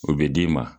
O bɛ d'i ma